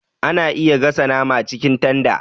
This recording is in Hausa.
Ana iya gasa nama cikin tanda